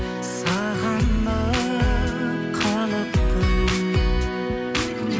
сағынып қалыппын